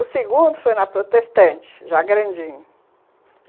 O segundo foi na Protestante, já grandinho.